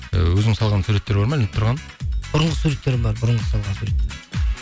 ііі өзің салған суреттер бар ма ілініп тұрған бұрынғы суреттерім бар бұрынғы салған сурет